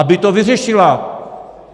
Aby to vyřešila!